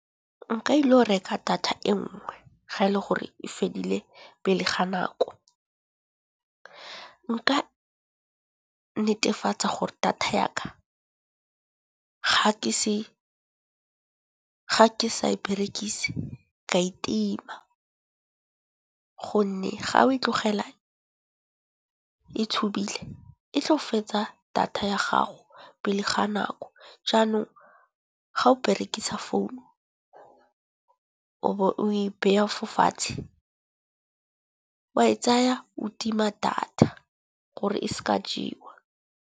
Nka ilo go reka data e nngwe ga e le gore e fedile pele ga nako. Nka netefatsa gore data yaka ga ke sa e berekise ka e tima, gonne ga o e tlogela e tshubile e tlo fetsa data ya gago pele ga nako. Jaanong ga o berekisa founu o bo o e beya fa fatshe, wa e tsaya o tima data gore e se ka jewa.